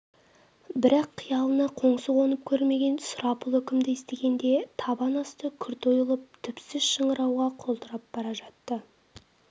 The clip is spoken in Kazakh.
бірақ қиялына қоңсы қонып көрмеген сұрапыл үкімді естігенде табан асты күрт ойылып түпсіз шыңырауға құлдырап бара жатты